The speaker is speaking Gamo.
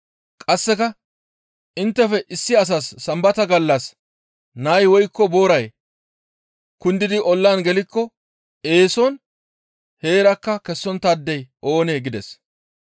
Qasseka, «Inttefe issi asas Sambata gallas nay woykko booray kundidi ollan gelikko eeson heerakka kessonttaadey oonee?» gides.